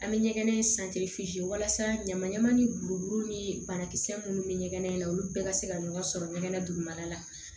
An bɛ ɲɛgɛn in walasa ɲaman ɲaman ni burukuru ni banakisɛ minnu bɛ ɲɛgɛn in na olu bɛɛ ka se ka ɲɔgɔn sɔrɔ ɲɛgɛn na dugumala la